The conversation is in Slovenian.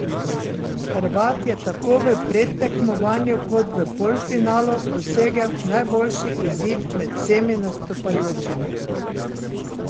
Hrvat je tako v predtekmovanju kot v polfinalu dosegel najboljši izid med vsemi nastopajočimi.